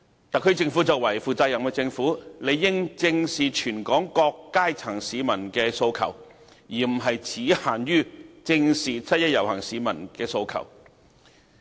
特區政府作為負責任的政府，理應正視全港各階層市民的訴求，而不只限於"正視七一遊行市民的訴求"。